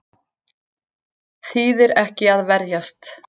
Þýðir ekki að verjast